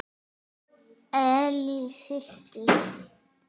Ellý systir.